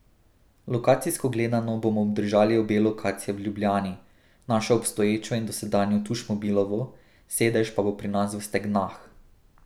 Lokacijsko gledano bomo obdržali obe lokaciji v Ljubljani, našo obstoječo in dosedanjo Tušmobilovo, sedež pa bo pri nas v Stegnah.